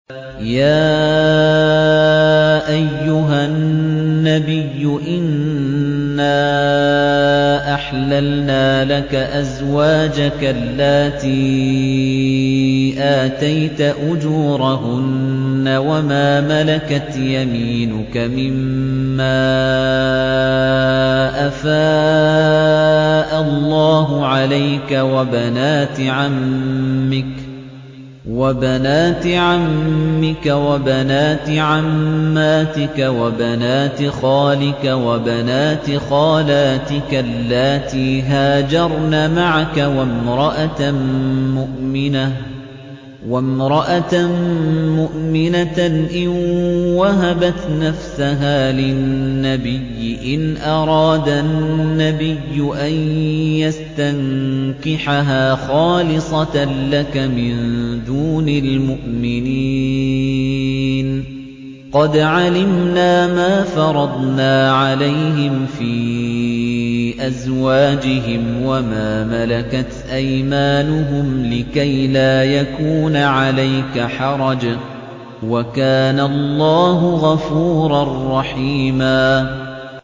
يَا أَيُّهَا النَّبِيُّ إِنَّا أَحْلَلْنَا لَكَ أَزْوَاجَكَ اللَّاتِي آتَيْتَ أُجُورَهُنَّ وَمَا مَلَكَتْ يَمِينُكَ مِمَّا أَفَاءَ اللَّهُ عَلَيْكَ وَبَنَاتِ عَمِّكَ وَبَنَاتِ عَمَّاتِكَ وَبَنَاتِ خَالِكَ وَبَنَاتِ خَالَاتِكَ اللَّاتِي هَاجَرْنَ مَعَكَ وَامْرَأَةً مُّؤْمِنَةً إِن وَهَبَتْ نَفْسَهَا لِلنَّبِيِّ إِنْ أَرَادَ النَّبِيُّ أَن يَسْتَنكِحَهَا خَالِصَةً لَّكَ مِن دُونِ الْمُؤْمِنِينَ ۗ قَدْ عَلِمْنَا مَا فَرَضْنَا عَلَيْهِمْ فِي أَزْوَاجِهِمْ وَمَا مَلَكَتْ أَيْمَانُهُمْ لِكَيْلَا يَكُونَ عَلَيْكَ حَرَجٌ ۗ وَكَانَ اللَّهُ غَفُورًا رَّحِيمًا